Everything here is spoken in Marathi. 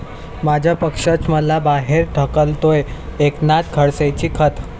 माझा पक्षच मला बाहेर ढकलतोय, एकनाथ खडसेंची खंत